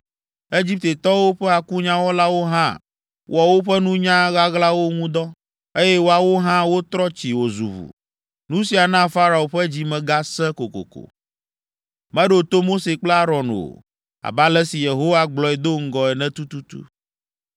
Egiptetɔwo ƒe akunyawɔlawo hã wɔ woƒe nunya ɣaɣlawo ŋu dɔ, eye woawo hã wotrɔ tsi wòzu ʋu. Nu sia na Farao ƒe dzi me gasẽ kokoko. Meɖo to Mose kple Aron o, abe ale si Yehowa gblɔe do ŋgɔ ene tututu.